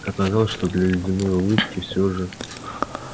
оказалось что для ледяной улыбки всё же